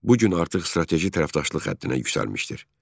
Bu gün artıq strateji tərəfdaşlıq həddinə yüksəlmişdir.